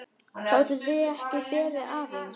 Gátuð þið ekki beðið aðeins?